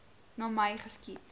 na my geskiet